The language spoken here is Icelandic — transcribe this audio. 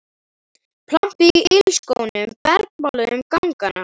Plampið í ilskónum bergmálaði um gangana.